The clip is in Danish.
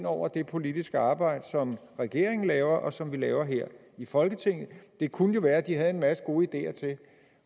over det politiske arbejde som regeringen laver og som vi laver her i folketinget det kunne jo være at de havde en masse gode ideer til